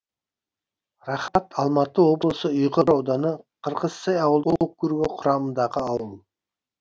рахат алматы облысы ұйғыр ауданы қырғызсай ауылдық округі құрамындағы ауыл